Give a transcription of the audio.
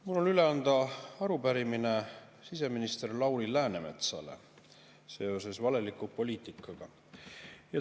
Mul on üle anda arupärimine siseminister Lauri Läänemetsale seoses valeliku poliitikaga.